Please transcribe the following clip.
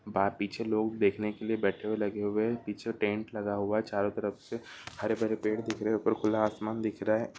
बाहर पीछे लोग देखने के लिए बैठे लगे हुए हैं। पीछे टेंट लगा हुआ है चारो तरफ से हरे भरे पेड़ दिख रहे ऊपर खुला आसमान दिख रहा है।